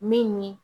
Min ye